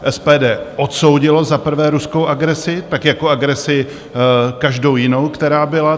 SPD odsoudilo za prvé ruskou agresi, tak jako agresi každou jinou, která byla.